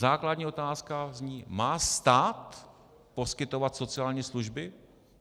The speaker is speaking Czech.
Základní otázka zní: Má stát poskytovat sociální služby?